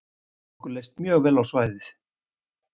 Okkur leist mjög vel á svæðið